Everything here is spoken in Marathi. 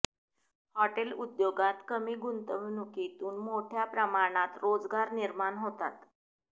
हॉटेल उद्योगात कमी गुंतवणुकीतून मोठ्या प्रमाणात रोजगार निर्माण होतात